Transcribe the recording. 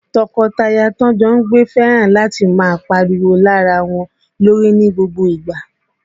Tọkọtaya ta jọ ń gbé fẹ́ràn láti máa pariwo lé ara wọn lórí ní gbogbo ìgbà